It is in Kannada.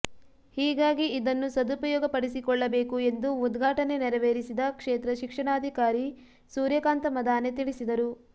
ಹೀಗಾಗಿ ಇದನ್ನು ಸದುಪಯೋಗ ಪಡೆಸಿಕೊಳ್ಳಬೇಕು ಎಂದು ಉದ್ಘಾಟನೆ ನೆರವೇರಿಸಿದ ಕ್ಷೇತ್ರ ಶಿಕ್ಷಣಾಧಿಕಾರಿ ಸೂರ್ಯಕಾಂತ ಮದಾನೆ ತಿಳಿಸಿದರು